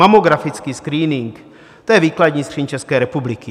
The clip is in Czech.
Mamografický screening, to je výkladní skříň České republiky.